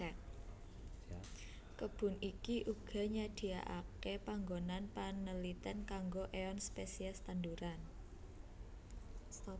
Kebun iki uga nyadiakake panggonan panelitèn kanggo éeon spesies tanduran